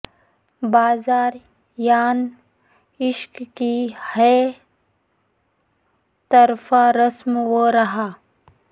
بازار یان عشق کی ہے طرفہ رسم و راہ